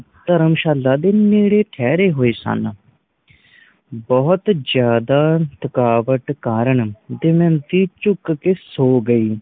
ਧਰਮਸ਼ਾਲਾ ਦੇ ਨੇੜੇ ਠਹਿਰ ਹੋਏ ਸਨ। ਬੋਹੋਤ ਜ਼ਿਆਦਾ ਥਕਾਵਟ ਕਾਰਣ ਦਮਯੰਤੀ ਝੁਕ ਕੇ ਸੋ ਗਈ।